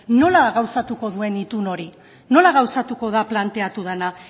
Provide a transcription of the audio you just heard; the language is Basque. nola gauzatuko duen itun hori nola gauzatuko da planteatu dena